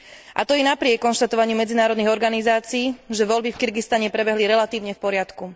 A to i napriek konštatovaniu medzinárodných organizácií, že voľby v Kirgizsku prebehli relatívne v poriadku.